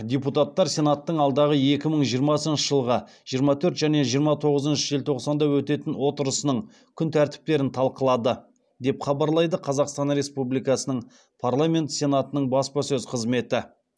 депутаттар сенаттың алдағы екі мың жиырмасыншы жылғы жиырма төрт және жиырма тоғызыншы желтоқсанда өтетін отырысының күн тәртіптерін талқылады деп хабарлайды қазақстан республикасының парламенті сенатының баспасөз қызметі